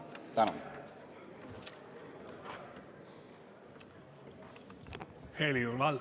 Tänan!